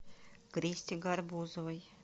кристе гарбузовой